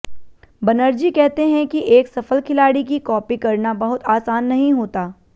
बनर्जी कहते हैं कि एक सफल खिलाड़ी की कॉपी करना बहुत आसान नहीं होता